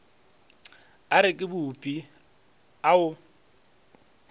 a reke bupi a o